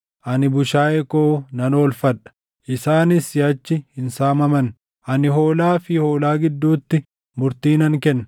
ani bushaayee koo nan oolfadha; isaanis siʼachi hin saamaman. Ani hoolaa fi hoolaa gidduutti murtii nan kenna.